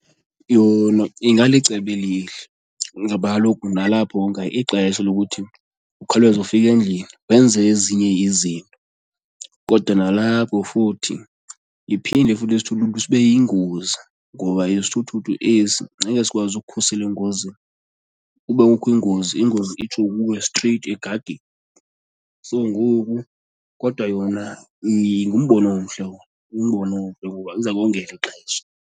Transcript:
Yona ingalicebo elihle ngoba kaloku nalapho wonga ixesha lokuthi ukhawuleze ufike endlini wenze ezinye izinto. Kodwa nalapho futhi iphinde futhi isithuthuthu sibe yingozi ngoba isithuthuthu esi ngeke sikwazi ukukhusela engozini, ukuba kukho ingozi ingozi itsho kuwe straight egageni. So ngoku kodwa yona ngumbono omhle owo, ngumbono omhle ngoba iza kongela ixesha.